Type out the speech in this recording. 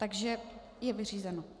Takže je vyřízeno.